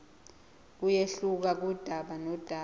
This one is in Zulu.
kuyehluka kudaba nodaba